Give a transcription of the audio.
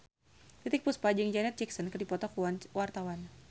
Titiek Puspa jeung Janet Jackson keur dipoto ku wartawan